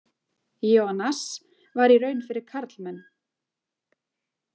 Ionas var í raun fyrir karlmenn.